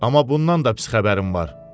Amma bundan da pis xəbərim var.